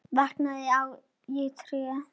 Vantaði á mig tær?